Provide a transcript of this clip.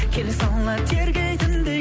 келе сала тергейтіндей